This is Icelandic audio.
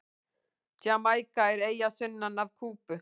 Jamaíka er eyja sunnan af Kúbu.